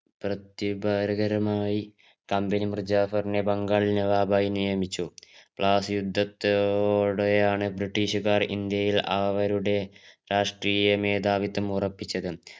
പ്രത്യുപാരകരമയി company മിർജാഫരിനെ ബംഗാൾ നവാബായ് നിയമിച്ചു ബ്ലാസി യുദ്ധത്തോടെയാണ് ബ്രിട്ടീഷുകാർ അവരുടെ രാഷ്ട്രീയ മേധാവിത്വം ഉറപ്പിച്ചത്